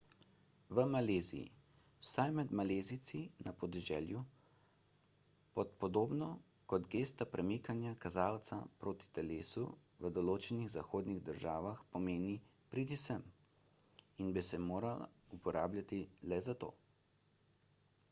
v maleziji vsaj med malezijci na podeželju pa podobno kot gesta premikanja kazalca proti telesu v določenih zahodnih državah pomeni pridi sem in bi se moralo uporabljati le za to